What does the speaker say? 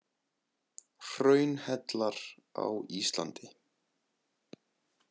Hraunhellar á Íslandi.